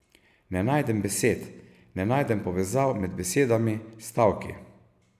Ne najdem besed, ne najdem povezav med besedami, stavki.